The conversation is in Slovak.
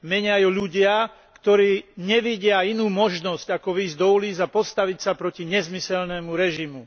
Menia ju ľudia, ktorí nevidia inú možnosť ako vyjsť do ulíc a postaviť sa proti nezmyselnému režimu.